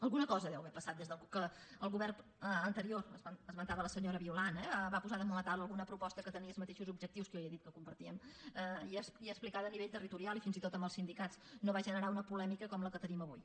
alguna cosa deu haver passat des que el govern anterior ho esmentava la senyora violant eh va posar damunt la taula alguna proposta que tenia els mateixos objectius que jo ja he dit que compartíem i explicada a nivell territorial i fins i tot als sindicats no va generar una polèmica com la que tenim avui